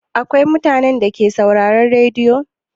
Akwai mutanen Dake sauraron rediyo?